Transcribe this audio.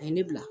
A ye ne bila